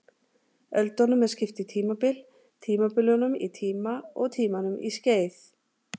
Öldunum er skipt í tímabil, tímabilunum í tíma og tímunum í skeið.